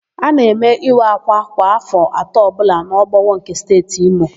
A na-eme ịwa ákwà kwa áfọ̀ atọ ọbụla n'Obowo nke Steeti Imo.